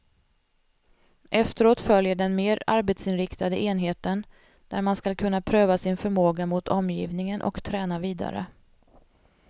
Efteråt följer den mer arbetsinriktade enheten, där man skall kunna pröva sin förmåga mot omgivningen och träna vidare.